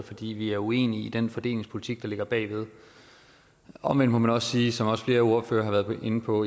fordi vi er uenige i den fordelingspolitik der ligger bag omvendt må man også sige som også flere ordførere har været inde på